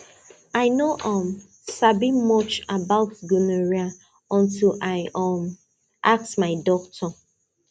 i no um sabi much about gonorrhea until i um ask my doctor